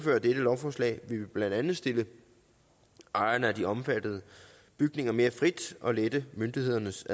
lovforslag vil vi blandt andet stille ejerne af de omfattede bygninger mere frit og lette myndighedernes